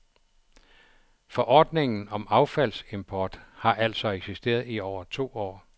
Forordningen om affaldsimport har altså eksisteret i over to år.